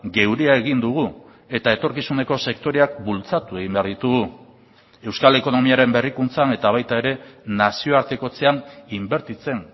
geurea egin dugu eta etorkizuneko sektoreak bultzatu egin behar ditugu euskal ekonomiaren berrikuntzan eta baita ere nazioartekotzean inbertitzen